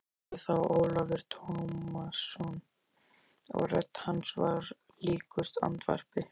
hváði þá Ólafur Tómasson og rödd hans var líkust andvarpi.